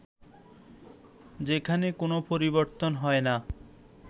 যেখানে কোন পরিবর্তন হয় না